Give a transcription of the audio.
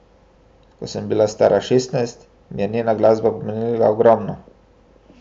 Ko sem bila stara šestnajst, mi je njena glasba pomenila ogromno.